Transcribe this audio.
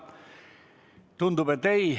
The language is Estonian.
Tundub, et ei ole.